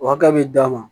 O hakɛ bɛ d'a ma